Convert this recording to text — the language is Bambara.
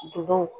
Duguw